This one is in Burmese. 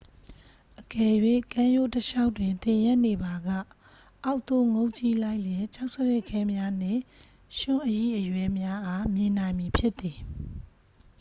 အကယ်၍ ကမ်းရိုးတလျှောက်တွင် သင်ရပ်နေပါက ၊ အောက်သို့ငုံ့ကြည့်လိုက်လျှင် ကျောက်စရစ်ခဲများနှင့် ရွံှ့အရိအရွဲများအား မြင်နိုင်မည်ဖြစ်သည်။